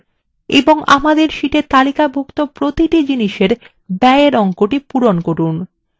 এবং আমাদের sheetএ তালিকাভুক্ত প্রতিটি জিনিসের ব্যয়এর অঙ্কটি পূরণ করুন